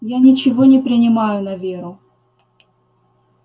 я ничего не принимаю на веру